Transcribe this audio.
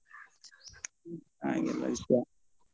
ಹಾಗೆ ಎಲ್ಲ ವಿಷ್ಯಾ.